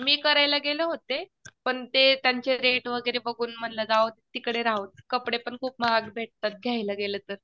मी करायला गेले होते पण ते त्यांचे रेट वगैरे बघून म्हणलं जाऊदे तिकडे कपडे पण खूप महाग भेटतात घ्यायला गेलं तर